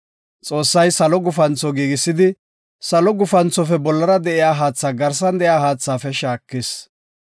Xoossay salo gufantho giigisidi, salo gufanthofe bollara de7iya haatha garsan de7iya haathaafe shaakis.